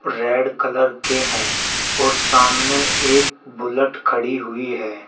Red colour के हैं और सामने एक बुलट खड़ी हुई है।